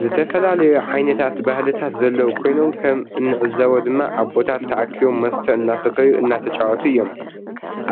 ዝተፈላለዩ ዓይነት ባህልታት ዘለዉ ኮይኖም ከም እንዕዞቦ ድማ አቦታት ተአኪቦም መስተ እናሰተዩ እናተጫወቱ እዩም።